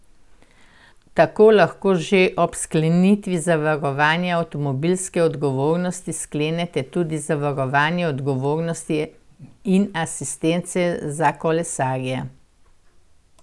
Tako lahko že ob sklenitvi zavarovanja avtomobilske odgovornosti sklenete tudi zavarovanje odgovornosti in asistence za kolesarje.